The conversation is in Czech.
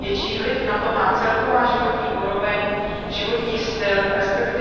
Větší vliv na to má celková životní úroveň, životní styl, resp.